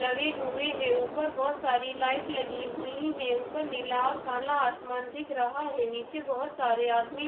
लगे हुए हैं ऊपर बहुत सारी लाइट लगी हुई है ऊपर नीला और काला आसमान दिख रहा है नीचे बहुत सारे आदमी --